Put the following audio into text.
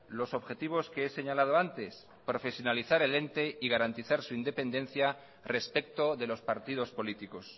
los objetivos que he señalado antes profesionalizar el ente y garantizar su independencia respecto de los partidos políticos